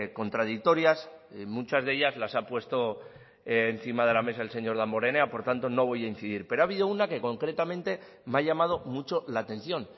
contradictorias muchas de ellas las ha puesto encima de la mesa en señor damborenea por tanto no voy a incidir pero ha habido una que concretamente me ha llamado mucho la atención